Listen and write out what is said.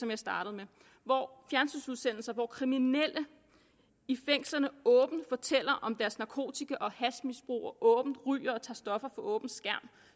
jeg startede med hvor kriminelle i fængslerne åbent fortæller om deres narkotika og hashmisbrug og ryger og tager stoffer for åben skærm